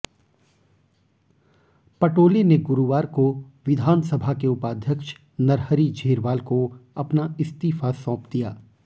पटोले ने गुरुवार को विधानसभा के उपाध्यक्ष नरहरि झीरवाल को अपना इस्तीफा सौंप दिया